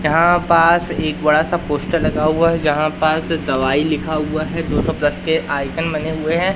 यहां पास एक बड़ा सा पोस्टर लगा हुआ है जहां पास दवाई लिखा हुआ है दो सौ प्लस के आइकन बने हुए हैं।